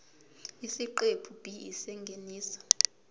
isiqephu b isingeniso